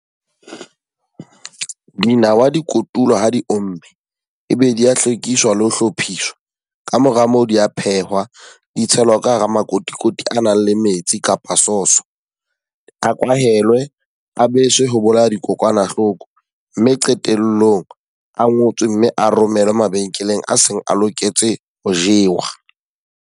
Dinawa di kotulwa ha di omme, e be di ya hlwekiswa le ho hlophiswa. Ka mora moo di a phehuwa di tshelwa ka hara makotikoti a nang le metsi kapa source. A kwahelwe, a beswe ho bolaya dikokwanahloko. Mme qetellong a ngotswe mme a romele mabenkeleng a seng a loketse ho jewa.